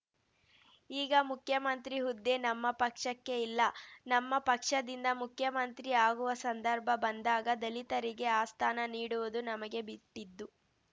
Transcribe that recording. ಈಗ ಮುಖ್ಯಮಂತ್ರಿ ಹುದ್ದೆ ನಮ್ಮ ಪಕ್ಷಕ್ಕೆ ಇಲ್ಲ ನಮ್ಮ ಪಕ್ಷದಿಂದ ಮುಖ್ಯಮಂತ್ರಿ ಆಗುವ ಸಂದರ್ಭ ಬಂದಾಗ ದಲಿತರಿಗೆ ಆ ಸ್ಥಾನ ನೀಡುವುದು ನಮಗೆ ಬಿಟ್ಟಿದ್ದು